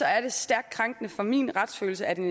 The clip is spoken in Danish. er det stærkt krænkende for min retsfølelse at en